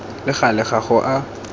le gale ga go a